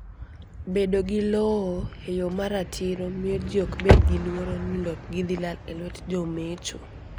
Bedo gi lowo e yo ma ratiro miyo ji ok bed gi luoro ni lopgi dhi lal e lwet jo mecho.